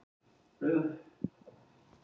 Lífeyrissjóðunum líst illa á hugmyndina